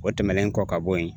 O tɛmɛnen kɔ ka bɔ yen